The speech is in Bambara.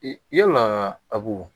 Yalaa abu